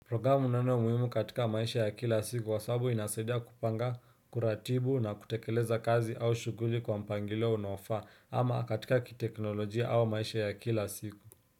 Programu ni neno muhimu katika maisha ya kila siku kwa sababu inasaidia kupanga kuratibu na kutekeleza kazi au shuguli kwa mpangilio unaofaa ama katika kiteknolojia au maisha ya kila siku.